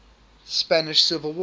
spanish civil war